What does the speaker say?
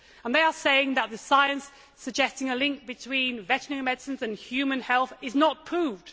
They are saying that the science suggesting a link between veterinary medicines and human health is not proved.